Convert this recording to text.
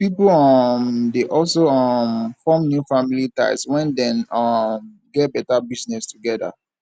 pipo um de also um form new family ties when dem um get better business together